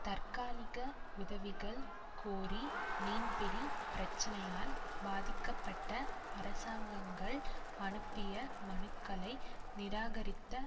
தற்காலிக உதவிகள் கோரி மீன்பிடி பிரச்சனையால் பாதிக்கப்பட்ட அரசாங்கங்கள் அனுப்பிய மனுக்களை நிராகரித்த